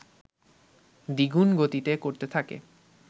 দ্বিগুণ গতিতে করতে থাকে